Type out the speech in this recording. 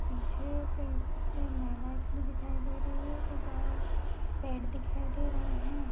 पीछे कई सारी महिलाए खड़ी दिखाई दे रही है तथा पेड़ दिखाई दे रहे है।